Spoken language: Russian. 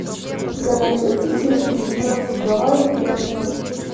у тебя найдется серия девятнадцать гавайи пять ноль